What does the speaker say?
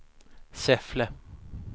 Säffle